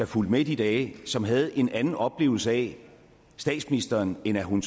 fulgte med i de dage som havde en anden oplevelse af statsministeren end at hun